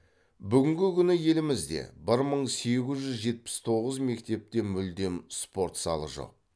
бүгінгі күні елімізде бір мың сегіз жүз жетпіс тоғыз мектепте мүлдем спорт залы жоқ